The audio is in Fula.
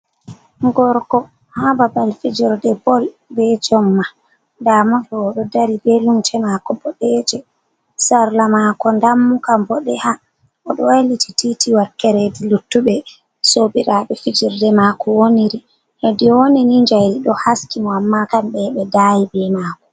Gorko ha babal fijirde bol be jomma, damoɗo oɗo dari be lumce mako boɗe je, sarla mako dammuka boɗe ha oɗo wailiti titi wakkere hedi luttuɓe sobiraɓe fijerde mako woniri, hedi owoni ni jayri ɗo haski mo amma kamɓe ɓe daayi be maako.